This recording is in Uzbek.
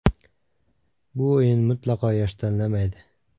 Bu oyin mutlaqo yosh tanlamaydi.